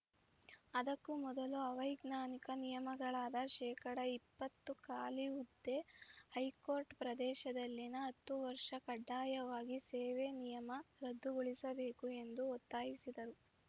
ಅದಕ್ಕೂ ಮೊದಲು ಅವೈಜ್ಞಾನಿಕ ನಿಯಮಗಳಾದ ಶೇಕಡಾ ಇಪ್ಪತ್ತು ಖಾಲಿ ಹುದ್ದೆ ಹೈ ಕೋರ್ಟ್ ಪ್ರದೇಶದಲ್ಲಿನ ಹತ್ತು ವರ್ಷ ಕಡ್ಡಾಯವಾಗಿ ಸೇವೆ ನಿಯಮ ರದ್ದುಗೊಳಿಸಬೇಕು ಎಂದು ಒತ್ತಾಯಿಸಿದರು